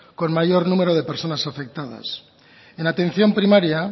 con mayor número de personas afectadas en atención primaria